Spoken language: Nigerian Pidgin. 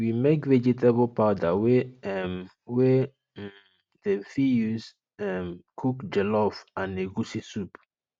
we make vegetable powder wey um wey um dem fit use um cook jollof and egusi soup